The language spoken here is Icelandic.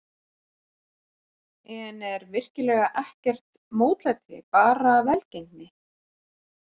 En er virkilega ekkert mótlæti, bara velgengni?